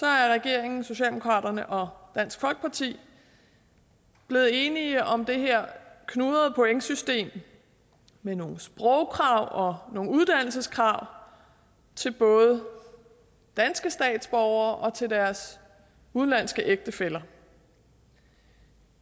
er regeringen socialdemokraterne og dansk folkeparti blevet enige om det her knudrede pointsystem med nogle sprogkrav og nogle uddannelseskrav til både danske statsborgere og deres udenlandske ægtefæller